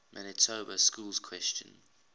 manitoba schools question